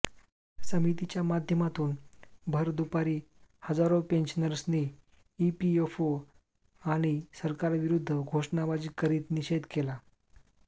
समितीच्या माध्यमातून भर दुपारी हजारो पेन्शनर्सनी ईपीएफओ आणि सरकारविरु द्ध घोषणाबाजी करीत निषेध केला